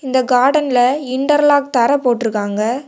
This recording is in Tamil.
இந்த கார்டன்ல இன்டெர்லாக் தர போட்ருக்காங்க.